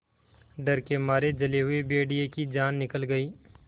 डर के मारे जले हुए भेड़िए की जान निकल गई